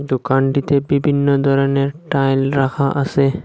দোকানটিতে বিভিন্ন ধরনের টাইল রাখা আসে।